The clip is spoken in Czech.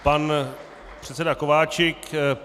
Pan předseda Kováčik.